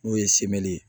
N'o ye ye